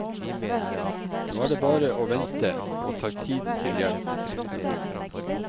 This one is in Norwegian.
Nå er det bare å vente og ta tiden til hjelp. punktum